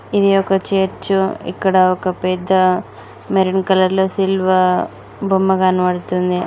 ఇది ఒక చర్చు ఇక్కడ ఒక పెద్ద మెరున్ కలర్ లో సిల్వా బొమ్మ కనబడుతుంది.